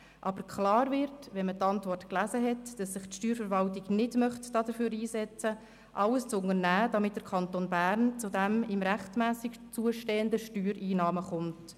Aus der Antwort wird aber klar, dass sich die Steuerverwaltung nicht dafür einsetzen möchte, alles zu unternehmen, damit der Kanton Bern zu den ihm rechtmässig zustehenden Steuereinnahmen kommt.